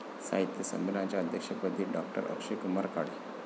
साहित्य संमेलनाच्या अध्यक्षपदी डॉ.अक्षयकुमार काळे